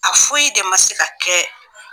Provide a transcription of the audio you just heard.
A foyi de ma se ka kɛ